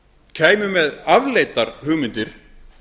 kæmu með afleitar hugmyndir